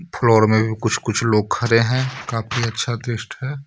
Floor में कुछ कुछ लोग खड़े हैं काफी अच्छा दृश्ट है.